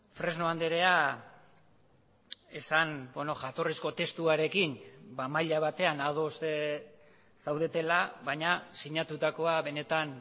fresno andrea esan jatorrizko testuarekin maila batean ados zaudetela baina sinatutakoa benetan